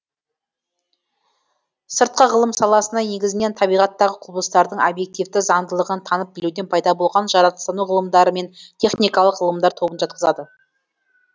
сыртқы ғылым саласына негізінен табиғаттағы құбылыстардың объективті заңдылығын танып білуден пайда болған жаратылыстану ғылымдары мен техникалық ғылымдар тобын жатқызады